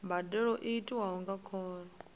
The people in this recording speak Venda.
mbadelo i tiwa nga khoro